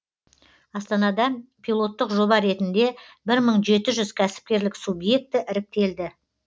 астанада пилоттық жоба ретінде бір мың жеті жүз кәсіпкерлік субъекті іріктелді